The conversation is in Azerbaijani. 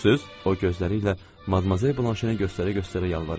O gözləri ilə Madmazel Blanşeni göstərə-göstərə yalvarırdı.